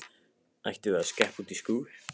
Ættum við að skreppa út í skúr?